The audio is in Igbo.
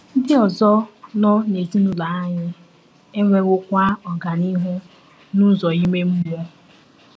Ndị ọzọ nọ n’ezinụlọ anyị enwewokwa ọganihu n’ụzọ ime mmụọ.